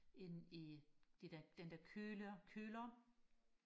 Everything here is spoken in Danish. inde i det der den der køler køler